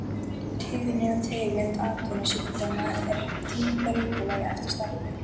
Tíðni og tegund atvinnusjúkdóma er því breytileg eftir starfi.